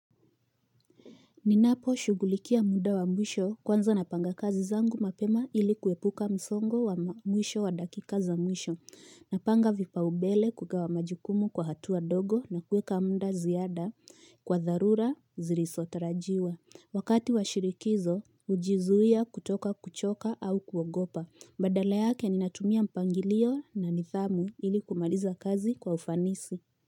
Ninapo shugulikia muda wa mwisho kwanza napanga kazi zangu mapema ili kuepuka msongo wa mwisho wa dakikaza mwisho. Napanga vipaumbele kugawa majukumu kwa hatua ndogo na kuweka muda ziada kwa dharura zilizotarajiwa. Wakati wa shirikizo hujizuia kutoka kuchoka au kuogopa. Badala yake ninatumia mpangilio na nidhamu ili kumaliza kazi kwa ufanisi.